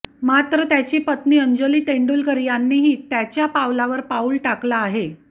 मात्र त्याची पत्नी अंजली तेंडुलकर यांनीही त्याच्या पावलावर पाऊल टाकलं आहे